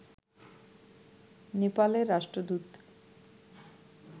নেপালের রাষ্ট্রদূত